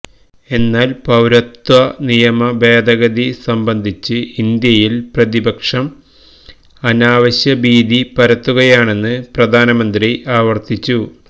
എന്നാൽ പൌരത്വ നിയമ ഭേഗഗതി സംബന്ധിച്ച് ഇന്ത്യയിൽ പ്രതിപക്ഷം അനാവശ്യ ഭീതി പരത്തുകയാണെന്ന് പ്രധാനമന്ത്രി ആവർത്തിച്ചു